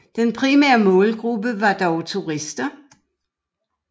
Den primære målgruppe var dog turister